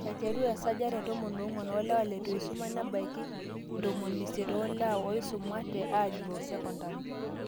aiteru te 14% oolewa leitu eisuma nebaiki 80 % oolewa ooisumate aagiroo secondary